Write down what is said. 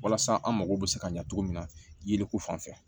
Walasa an mago bɛ se ka ɲa cogo min na ye ko fanfɛ